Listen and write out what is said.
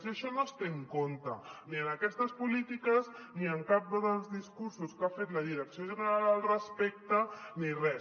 i això no es té en compte ni en aquestes polítiques ni en cap dels discursos que ha fet la direcció general al respecte ni res